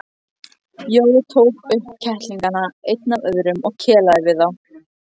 Jói tók upp kettlingana einn af öðrum og kelaði við þá.